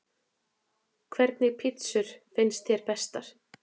Hvernig pizzur finnst þér bestar?